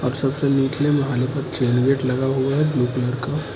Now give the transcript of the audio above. सबसे निचले माले पर चेन गेट लगा हुआ है ब्लू कलर का।